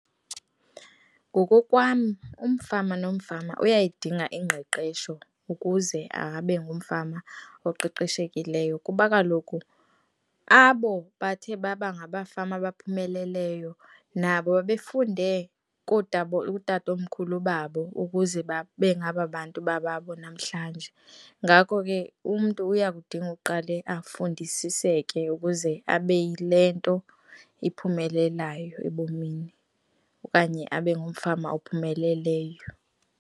Ngokokwam umfama nomfama uyayidinga ingqeqesho ukuze abe ngumfama oqeqeshekileyo, kuba kaloku abo bathe baba ngabafama abaphumeleleyo, nabo babe funde kutatomkhulu babo ukuze babe ngababantu bababo namhlanje. Ngakho ke umntu uya kudinga uqale afundisiseke ukuze abe yile nto iphumelelayo ebomini okanye abe ngumfama ophumeleleyo.